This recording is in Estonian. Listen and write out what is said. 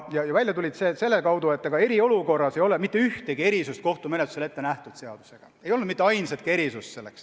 Ja välja tulid need selle kaudu, et eriolukorras ei ole seadusega ette nähtud mitte ühtegi erisust kohtumenetlusel.